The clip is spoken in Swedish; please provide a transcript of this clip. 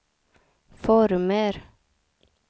former